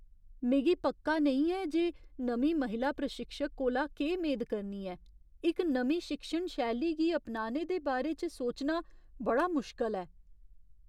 मिगी पक्का नेईं ऐ जे नमीं महिला प्रशिक्षक कोला केह् मेद करनी ऐ। इक नमीं शिक्षण शैली गी अपनाने दे बारे च सोचना बड़ा मुश्कल ऐ।